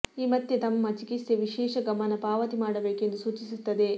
ಈ ಮತ್ತೆ ತಮ್ಮ ಚಿಕಿತ್ಸೆ ವಿಶೇಷ ಗಮನ ಪಾವತಿ ಮಾಡಬೇಕು ಎಂದು ಸೂಚಿಸುತ್ತದೆ